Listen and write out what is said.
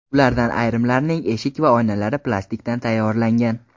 Ulardan ayrimlarining eshik va oynalari plastikdan tayyorlangan.